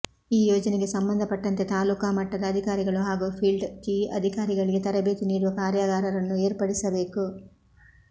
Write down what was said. ಈ ಯೋಜನೆಗೆ ಸಂಬಂಧಪಟ್ಟಂತೆ ತಾಲೂಕಾ ಮಟ್ಟದ ಅಧಿಕಾರಿಗಳು ಹಾಗೂ ಫಿಲ್ಡ್ ಕೀ ಅಧಿಕಾರಿಗಳಿಗೆ ತರಬೇತಿ ನೀಡುವ ಕಾರ್ಯಾಗಾರವನ್ನು ಏರ್ಪಡಿಸಬೇಕು